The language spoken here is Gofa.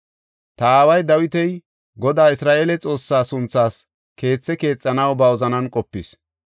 “Ta aaway Dawiti Godaa Isra7eele Xoossaa sunthaas keethe keexanaw ba wozanan qopis.